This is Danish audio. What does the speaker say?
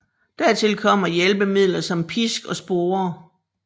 Dertil kommer hjælpemidler som pisk og sporer